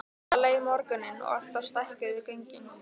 Svona leið morgunninn og alltaf stækkuðu göngin.